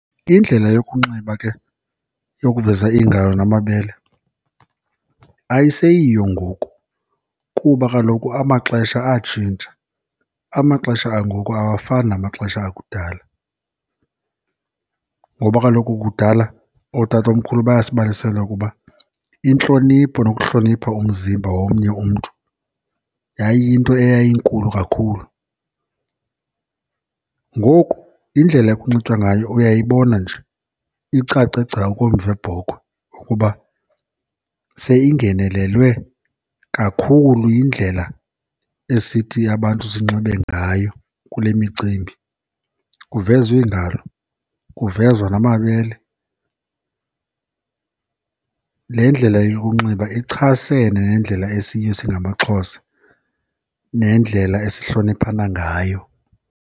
Indlela yokunxiba ke yokuveza iingalo namabele ayiseyiyo ngoku kuba kaloku amaxesha atshintsha, amaxesha angoku awafani namaxesha akudala. Ngoba kaloku kudala ootatomkhulu bayasibalisela ukuba intlonipho nokuhlonipha umzimba womnye umntu yayiyinto eyayinkulu kakhulu. Ngoku indlela ekunxitywa ngayo uyayibona nje, icace gca okomva webhokhwe ukuba seyingenelelwe kakhulu yindlela esithi abantu sinxibe ngayo kule micimbi. Kuvezwa iingalo, kuvezwa namabele. Le ndlela yokunxiba ichasene nendlela esiyiyo singamaXhosa nendlela esihloniphana ngayo.